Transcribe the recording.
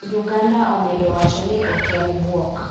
Uganda omedo wacho ni ok en bwok